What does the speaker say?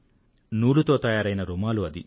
నూలుతో తయారైన రుమాలు అది